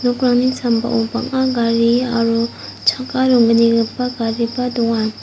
sambao bang·a gari aro chakka ronggnigipa gariba donga.